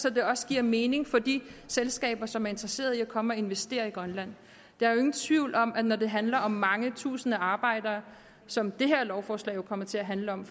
at det også giver mening for de selskaber som er interesseret i at komme og investere i grønland der er jo ingen tvivl om at det når det handler om mange tusinde arbejdere som det her lovforslag jo kommer til at handle om